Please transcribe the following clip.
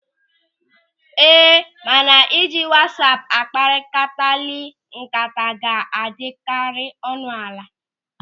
Ee, mana ịji wasaapu akpakọrilịta ńkata ga-adịkarị ọnụ ala.